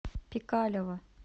пикалево